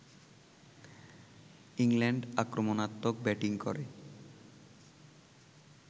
England আক্রমণাত্মক batting করে